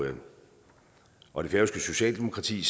og det færøske socialdemokrati